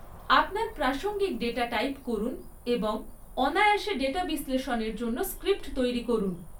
আপনার প্রাসঙ্গিক data type করুন এবং অনায়াসে ডেটা বিশ্লেষণের জন্য স্ক্রিপ্ট তৈরি করুন।